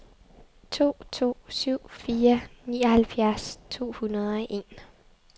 to to syv fire nioghalvfjerds to hundrede og en